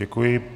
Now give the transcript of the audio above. Děkuji.